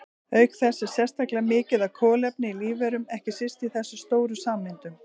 Auk þess er sérstaklega mikið af kolefni í lífverum, ekki síst í þessum stóru sameindum.